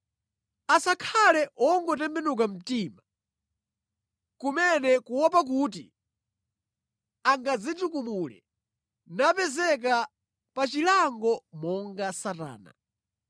Asakhale wongotembenuka mtima kumene kuopa kuti angadzitukumule napezeka pa chilango monga Satana.